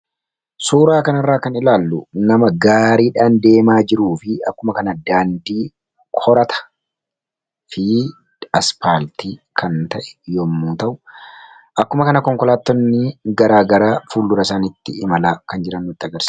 Suuraa kanarraa kan ilaallu nama gaariidhaan deemaa jiruu fi akkuma kana daandii korataafi asphaaltii kan ta’e yommuu ta'u, akkuma kana konkolaattonni gara garaa fuuldura isaaniitti imalaa kan jiran agarsiisa.